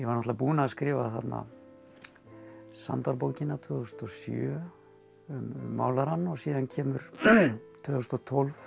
náttúrulega búinn að skrifa þarna tvö þúsund og sjö um málarann og síðan kemur tvö þúsund og tólf